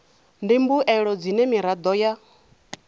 ndi mbuelo dzine miraḓo ya